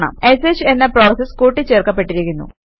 ഷ് എന്ന പ്രോസസ് കൂട്ടി ച്ചേർക്കപ്പെട്ടിരിക്കുന്നു